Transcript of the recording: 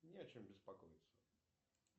не о чем беспокоиться